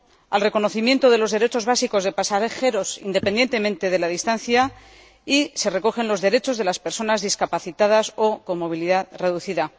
al reconocimiento de los derechos básicos de pasajeros, independientemente de la distancia, y se recogen los derechos de las personas discapacitadas o con movilidad reducida.